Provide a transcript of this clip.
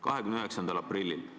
29. aprillil.